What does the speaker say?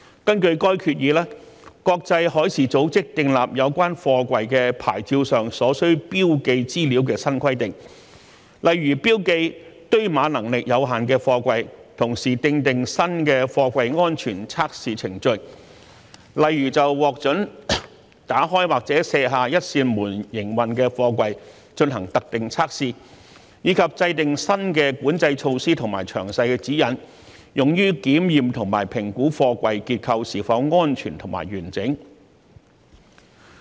根據該決議，國際海事組織訂立有關貨櫃牌照上所需標記資料的新規定，例如標記堆碼能力有限的貨櫃，同時訂定新的貨櫃安全測試程序，例如就獲准打開或卸下一扇門營運的貨櫃進行特定測試，以及制訂新的管制措施和詳細指引，用於檢驗和評估貨櫃結構是否安全和完整。